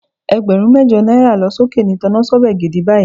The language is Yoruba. Ẹgbẹ̀rún mẹ́jọ náírà lọ sókè ni tọnásọ́bẹ̀ gidi báyìí